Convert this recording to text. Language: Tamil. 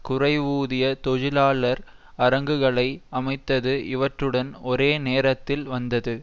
குறைவூதிய தொழிலாளர் அரங்குகளை அமைத்தது இவற்றுடன் ஒரே நேரத்தில் வந்தது